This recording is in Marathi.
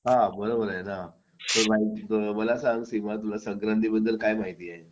हा बरोबर आहे ना मला सांग सीमा तुला संक्रांती बद्दल काय माहिती आहे